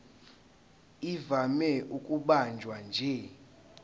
ivame ukubanjwa nje